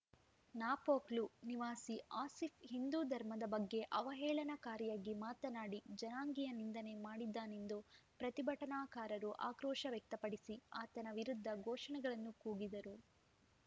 ನಾಪೋಕ್ಲು ನಿವಾಸಿ ಆಸೀಫ್‌ ಹಿಂದೂ ಧರ್ಮದ ಬಗ್ಗೆ ಅವಹೇಳನಕಾರಿಯಾಗಿ ಮಾತನಾಡಿ ಜನಾಂಗೀಯ ನಿಂದನೆ ಮಾಡಿದ್ದಾನೆಂದು ಪ್ರತಿಭಟನಾಕಾರರು ಆಕ್ರೋಶ ವ್ಯಕ್ತಪಡಿಸಿ ಆತನ ವಿರುದ್ಧ ಘೋಷಣೆಗಳನ್ನು ಕೂಗಿದರು